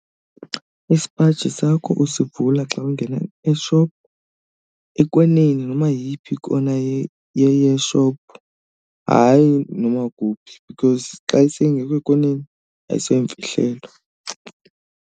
Isipaji sakho usivula xa ungena e-shop ekoneni noma yeyiphi kona ye-shop, hayi noma kuphi because xa seyingekho koneni ayiseyomfihlelo.